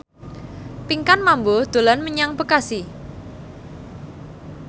Pinkan Mambo dolan menyang Bekasi